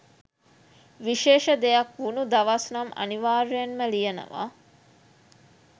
විශේෂ දෙයක් වුනු දවස් නම් අනිවාර්යෙන්ම ලියනවා